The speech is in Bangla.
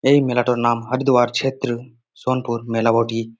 এই মেলাটার নাম হাড়দোয়ার ছেত্র সোনাপুর মেলা বটি।